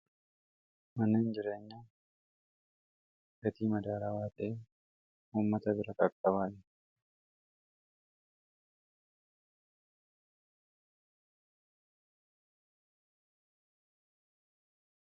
mana hinjireenya gatii madaara waaxee ummata bira kaqxabaale